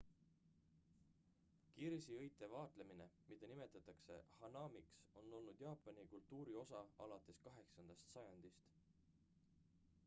kirsiõite vaatlemine mida nimetatakse hanamiks on olnud jaapani kultuuri osa alates 8 sajandist